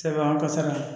Sɛbɛn an ka sara